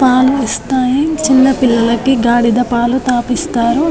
పాలు ఇస్తాయి చిన్న పిల్లలకి గాడిద పాలు తాపిస్తారు.